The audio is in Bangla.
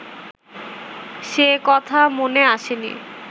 সে কথা মনে আসেনি